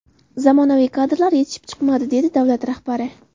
Zamonaviy kadrlar yetishib chiqmadi”, dedi davlat rahbari.